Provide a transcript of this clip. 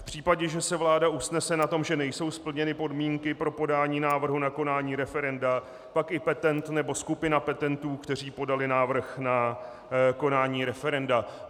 V případě, že se vláda usnese na tom, že nejsou splněny podmínky pro podání návrhu na konání referenda, pak i petent nebo skupina petentů, kteří podali návrh na konání referenda.